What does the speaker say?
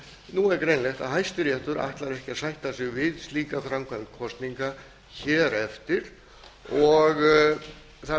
nú er greinilegt að hæstiréttur ætlar ekki að sætta sig við slíka framkvæmd kosninga hér eftir og það